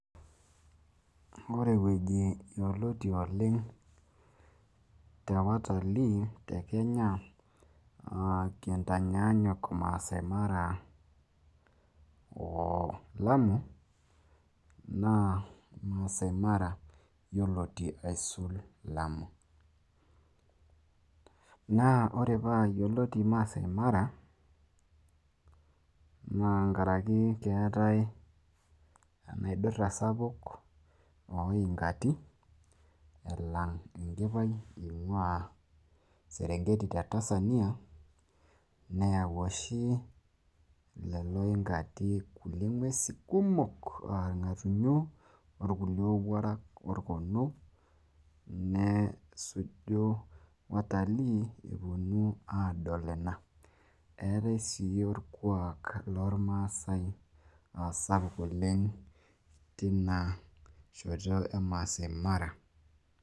amu ore ewueji yioloti oleng',te watalii te kenya, kintanyaanyuk maasai mara o lamu. naa maasai mara yiolotu alang lamu. naa ore pee eyioloti maasai mara oleng' naa keetae enaidura sapuk ooinkati, elang enkipai eing'ua serengeti te tansania, neyau oshi leo yinkati ing'uesin kumok anaa ilngatunyo o kulie owuarak. olkono. neshuju watalii epuonu aadol ina. eetae sii orkuak loormaasae, sapuk oleng teina shoto emaasai mara.